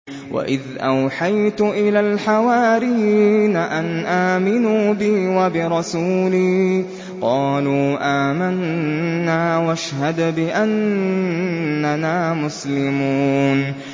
وَإِذْ أَوْحَيْتُ إِلَى الْحَوَارِيِّينَ أَنْ آمِنُوا بِي وَبِرَسُولِي قَالُوا آمَنَّا وَاشْهَدْ بِأَنَّنَا مُسْلِمُونَ